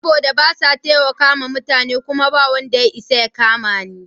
Saboda basa taimakawa mutane kuma bawanda ya isa ya kamani.